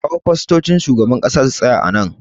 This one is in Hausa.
Ka kawo fastocin shugaban ƙasa su tsaya a nan